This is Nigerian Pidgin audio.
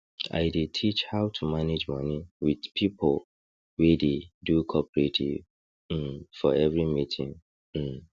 i dey teach how to manage money with pipo wey dey do cooperative um for every meeting um